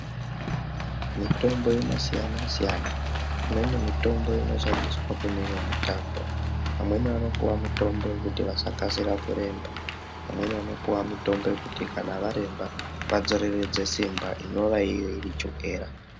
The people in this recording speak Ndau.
Mitombo inosiyana siyana imweni mitombo inoshandiswa kune imweni mitambo vamweni vanopuwa mitombo yekuti vasakasira kuremba vamweno vanopiwa mitombo yekuti kana varemba vadzoreredze simba inova iyo iri chokera.